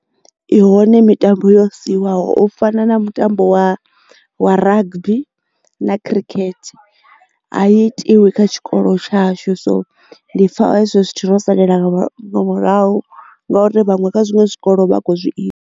I hone mitambo yo siwaho u fana na mutambo wa wa rugby na khirikhethe a i tiwi kha tshikolo tshashu so ndi pfha hezwo zwithu ro salela murahu ngauri vhaṅwe kha zwiṅwe zwikolo vha a kho zwi ita.